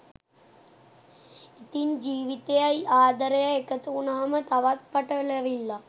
ඉතින් ජීවිතයයි ආදරයයි එකතු වුණාම තවත් පටලැවිල්ලක්